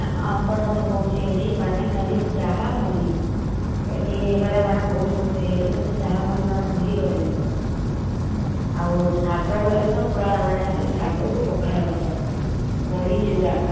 ଆମ ପାଟ ର ମୁ କହୁଛି ଖାଲି ଆମ ବେଳର ଚାହା ମୁଢି ହେଇଗଲେ ବହୁତ ଖୁସି ହେଇଯାଉ। ଏବେ ସେସବୁ ଭୁଲିଗଲେଣି ପୁର। ଆଉ ଶାଗ ବୋଲେ ତ ଶାଗ କୁ ପଖାଳ ଭାତ ବଢିଚୁରା ଏସବୁ ଜିନିଷ ଖାଉଥିଲେ।